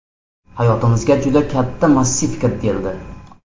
Hayotimizga juda katta massiv kirib keldi.